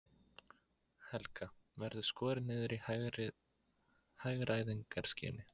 Helga: Verður skorið niður í hagræðingarskyni?